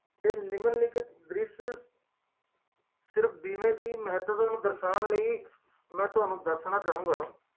ਸੋਗ ਦਾ ਸਾਮਣਾ